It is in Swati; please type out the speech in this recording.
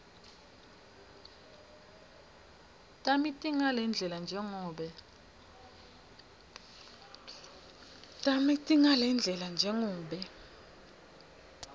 tami tingalendlela njengobe